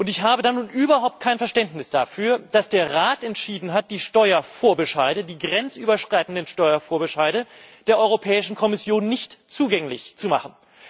Ich habe nun überhaupt kein Verständnis dafür, dass der Rat entschieden hat, die grenzüberschreitenden Steuervorbescheide der Europäischen Kommission nicht zugänglich zu machen.